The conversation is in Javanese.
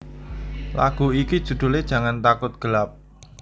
Lagu iki judhule Jangan Takut Gelap